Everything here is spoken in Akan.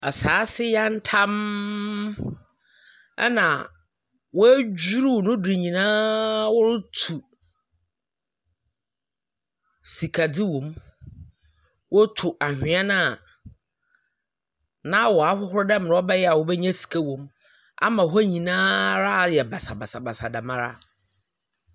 Asaase yantamm ɛna woedwiriw no do nyinaa wɔrotu sikadur wɔ mu. Wɔti anhwea no a,na waahohor dɛmmrɛ wɔbɛnya sika wɔ mu ama hɔ nyinara ayɛ basabasabasa dɛm ara.